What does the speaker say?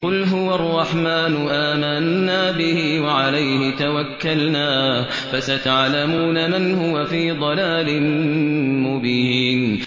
قُلْ هُوَ الرَّحْمَٰنُ آمَنَّا بِهِ وَعَلَيْهِ تَوَكَّلْنَا ۖ فَسَتَعْلَمُونَ مَنْ هُوَ فِي ضَلَالٍ مُّبِينٍ